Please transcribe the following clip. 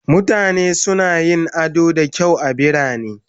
Mutane suna yin ado da kyau a birane